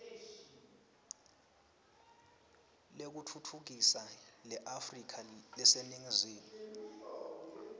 lekutfutfukisa leafrika leseningizimu